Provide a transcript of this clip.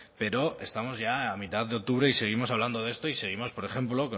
pero estamos ya a mitad de octubre y seguimos hablando de esto y seguimos por ejemplo